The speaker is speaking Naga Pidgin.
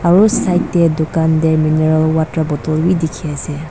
aru side te dukan te mineral water bottle bi dikhi ase.